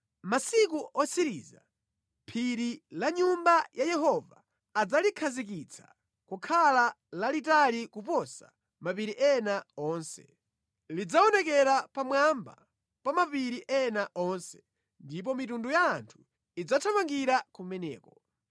Mʼmasiku otsiriza, phiri la Nyumba ya Yehova adzalikhazikitsa kukhala lalitali kuposa mapiri ena onse, lidzaonekera pamwamba pa mapiri ena onse, ndipo mayiko onse adzathamangira kumeneko.